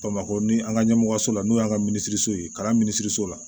Bamakɔ ni an ka ɲɛmɔgɔso la n'o y'an ka minisiriso ye ka taa minisiriso la